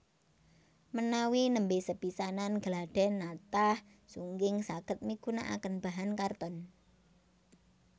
Menawi nembé sepisanan gladhèn natah sungging saged migunakaken bahan karton